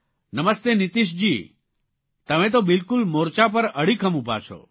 નમસ્તે નીતીશજી તમે તો બિલકુલ મોર્ચા પર અડીખમ ઉભા છો